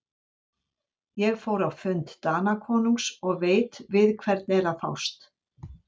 Ég fór á fund Danakonungs og veit við hvern er að fást.